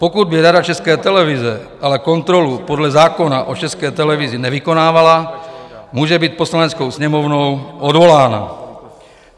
Pokud by Rada České televize ale kontrolu podle zákona o České televizi nevykonávala, může být Poslaneckou sněmovnou odvolána.